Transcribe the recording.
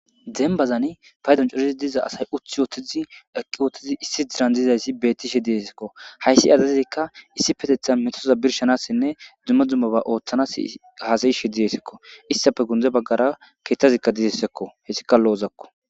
Dembazani paydan corizi diza asay uthi wootizi eqqi oottizi issi dirandizayssi beetti she diesekko hayssi adazikka issi petetha metoza birshanassinne dumma dzummoba ooththanas haasayishe diessekko istafe gunde baggara keeththazikka dizessekko hessikalloozakko.